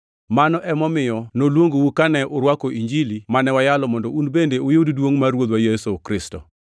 Mano emomiyo noluongou kane urwako Injili mane wayalonu mondo un bende uyud duongʼ mar Ruodhwa Yesu Kristo.